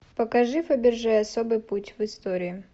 покажи фаберже особый путь в истории